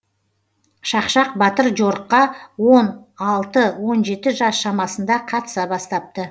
шақшақ батыр жорыққа он алты он жеті жас шамасында қатыса бастапты